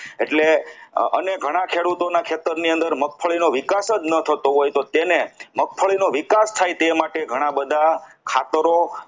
એટલે અને ઘણા ખેડૂતોના ખેતરની અંદર મગફળીનો વિકાસ જ ન થતો હોય તો તેને મગફળીનો વિકાસ થાય તે માટે ઘણા બધા ખાતરો